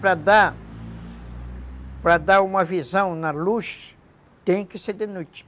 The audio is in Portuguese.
Para dar... Para dar uma visão na luz, tem que ser de noite.